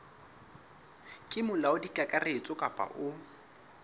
ke molaodi kakaretso kapa o